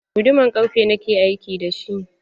Guduman ƙarfe na ke aiki da shi.